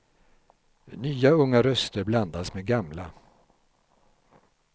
Nya unga röster blandas med gamla.